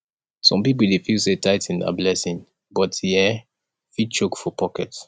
some people dey feel say tithing na blessing but e um fit choke for pocket